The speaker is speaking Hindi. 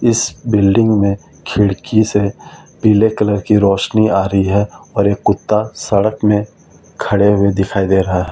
इस बिल्डिंग में खिड़की से पीले कलर की रोशनी आ रही है और एक कुत्ता सड़क में खड़े हुए दिखाई दे रहा है।